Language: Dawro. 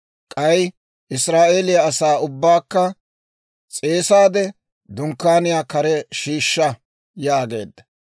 K'ay Israa'eeliyaa asaa ubbaakka s'eesaade, Dunkkaaniyaa kare shiishsha» yaageedda.